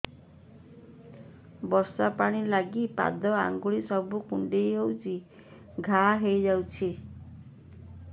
ବର୍ଷା ପାଣି ଲାଗି ପାଦ ଅଙ୍ଗୁଳି ସବୁ କୁଣ୍ଡେଇ ହେଇ ଘା ହୋଇଯାଉଛି